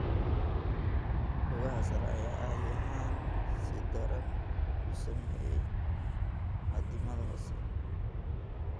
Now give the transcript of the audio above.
Lugaha sare ayaa caadi ahaan si daran u saameeyay addimada hoose.